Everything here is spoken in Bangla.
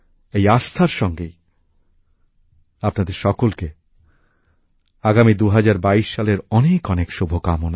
এই আস্থার সঙ্গেই আপনাদের সকলকে আগামী ২০২২ সালের অনেক অনেক শুভকামনা